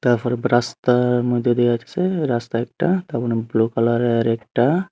তারপরে রাস্তার মধ্যে দিয়ে যাচ্ছে রাস্তা একটা তারপরে ব্লু কালারের আরেকটা--